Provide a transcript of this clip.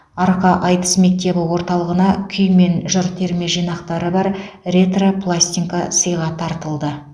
арқа айтыс мектебі орталығына күй мен жыр терме жинақтары бар ретро пластинка сыйға тартылды